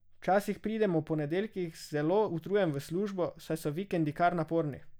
Včasih pridem ob ponedeljkih zelo utrujen v službo, saj so vikendi kar naporni.